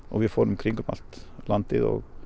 og við fórum í kringum allt landið og